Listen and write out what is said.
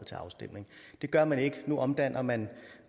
til afstemning det gør man ikke nu omdanner man